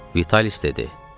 Vitalis dedi: